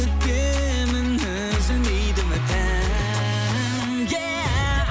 күтемін үзілмейді үмітім еа